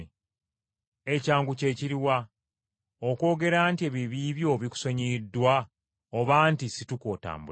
Ekyangu kye kiri wa? Okwogera nti ebibi byo bikusonyiyiddwa oba nti situka otambule?